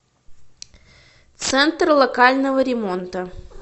центр локального ремонта